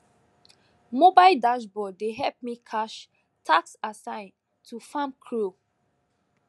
mobile dashboard dey help me cash task assign to farm crew